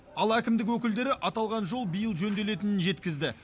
ал әкімдік өкілдері аталған жол биыл жөнделетінін жеткізді